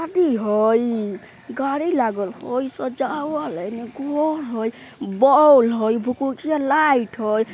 हई गाड़ी लागल हई सजावल हई एने घर हई बौल हई भुकभुकिया लाइट हई।